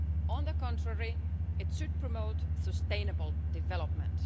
on the contrary, it should promote sustainable development.